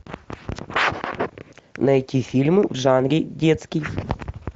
найти фильм в жанре детский